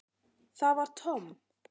Það var Tom.